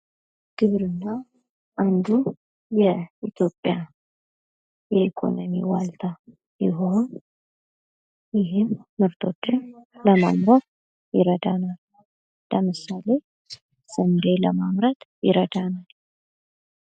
ግብርና አንዱ የኢትዮጵያ የኢኮኖሚ ዋልታ ሲሆን ይህም ምርቶችን ለማምረት ይረዳናል። ለምሳሌ ስንዴ ለማምረት ይረዳናል።